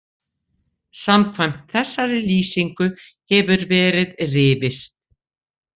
Samkvæmt þessari lýsingu hefur verið rifist.